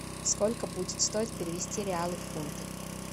сколько будет стоить перевести реалы в фунты